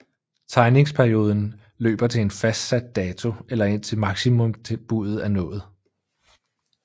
Tegningsperioden løber til en fastsat dato eller indtil maksimumbuddet er nået